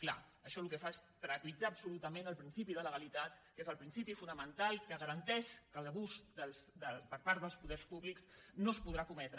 clar això el que fa és trepitjar absolutament el principi de legalitat que és el principi fonamental que garanteix que l’abús per part dels poders públics no es podrà cometre